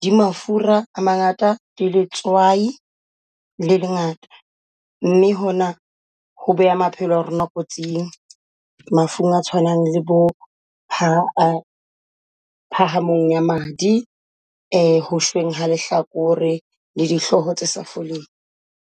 di mafura a mangata di letswai le lengata mme hona ho beha maphelo a rona kotsing mafung a tshwanang le bo phahamong ya madi ha lehlakore, le dihloho tsa sa foleng.